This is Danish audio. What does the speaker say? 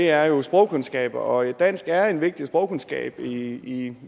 er jo sprogkundskaber og dansk er en vigtig sprogkundskab i